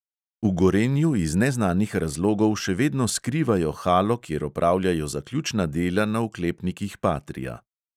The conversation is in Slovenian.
V gorenju iz neznanih razlogov še vedno skrivajo halo, kjer opravljajo zaključna dela na oklepnikih patria.